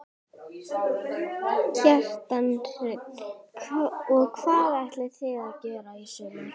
Kjartan Hreinn: Og hvað ætlið þið að gera í sumar?